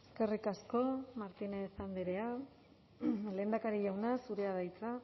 eskerrik asko martínez andrea lehendakari jauna zurea da hitza